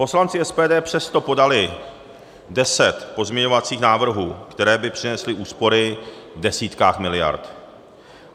Poslanci SPD přesto podali 10 pozměňovacích návrhů, které by přinesly úspory v desítkách miliard.